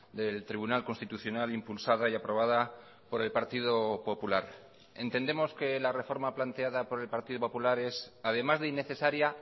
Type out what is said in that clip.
del tribunal constitucional impulsada y aprobada por el partido popular entendemos que la reforma planteada por el partido popular es además de innecesaria